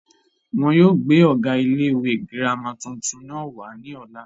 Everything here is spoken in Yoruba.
wọn yóò gbé ọ̀gá ilé ìwé girama tuntun náà wá ní ọ̀la